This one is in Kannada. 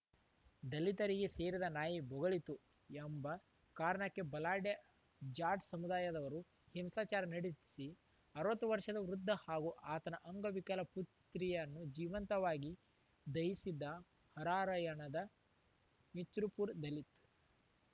ದಲಿತರಿಗೆ ಸೇರಿದ ನಾಯಿ ಬೊಗಳಿತು ಎಂಬ ಕಾರಣಕ್ಕೆ ಬಲಾಢ್ಯ ಜಾಡ್ ಸಮುದಾಯದವರು ಹಿಂಸಾಚಾರ ನಡೆಸಿ ಅರವತ್ತು ವರ್ಷದ ವೃದ್ಧ ಹಾಗೂ ಆತನ ಅಂಗವಿಕಲ ಪುತ್ರಿಯನ್ನು ಜೀವಂತವಾಗಿ ದಹಿಸಿದ್ದ ಹರಾರ‍ಯಣದ ಮಿಚ್‌ರ್‍ಪುರ ದಲಿತ